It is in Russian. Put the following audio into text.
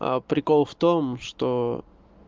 а прикол в том что